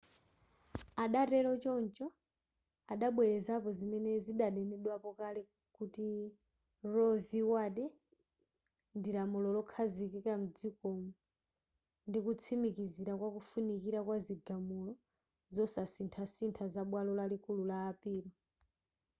adatero choncho adabwelezapo zimene zidanenedwapo kale kuti roe v wade ndi lamulo lokhazikika mdzikomo ndikutsimikizira kwakufunikira kwa zigamulo zosasinthasintha za bwalo lalikulu la apilo